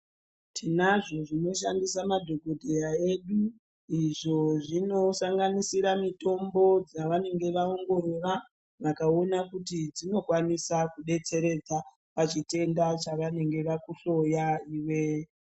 Tinazvo zvinoshandisa madhokodheyaa edu, Izvo zvinosanganisira mitombo dzavanenge vaongorora vakaona kuti dzinokwanisa kudetseredza pachitenda chavanenge vakuhloyaa iwee.